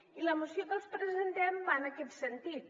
i la moció que els presentem va en aquest sentit